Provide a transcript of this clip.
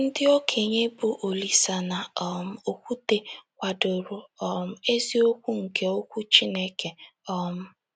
Ndị okenye bụ́ Olise na um Okwute kwadoro um eziokwu nke Okwu Chineke. um